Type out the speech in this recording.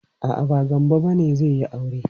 A'a, ba Gambo bane zai yi aure.